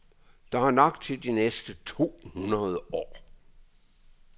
Der er nok til de næste to hundrede år.